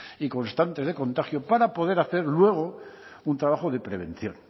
y constantes de contagio para poder hacer luego un trabajo de prevención